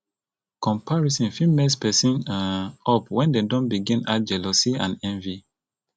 comparison fit mess person um up when dem don begin add jealousy and envy